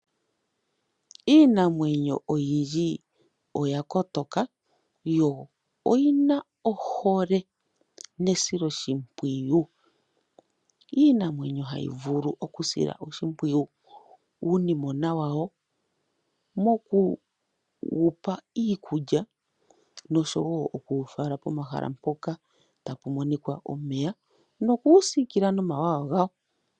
Iinamwenyo oyindji oya kotoka yo oyina ohole nesilo shimpwiyu, iinamwenyo hayi vulu okusila oshimpwiyu uunimona wawo moku wupa iikulya nosho woo okuwu fala pomahala mpoka tapu monika omeya, noku wu sikila nomawawa gawo.